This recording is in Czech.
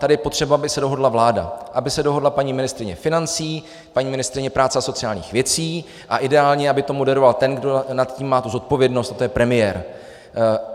Tady je potřeba, aby se dohodla vláda, aby se dohodla paní ministryně financí, paní ministryně práce a sociálních věcí a ideálně aby to moderoval ten, kdo nad tím má tu zodpovědnost, a to je premiér.